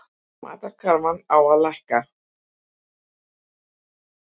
Matarkarfan á að lækka